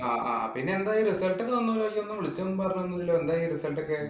ആഹ് ആഹ് പിന്നെ എന്തായി result ഒക്കെ വന്നോന്ന് ചോദിച്ചപ്പം വിളിച്ചതും പറഞ്ഞതൊന്നുമില്ലല്ലോ? എന്തായി result ഒക്കെ